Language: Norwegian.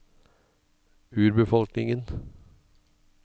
urbefolkningen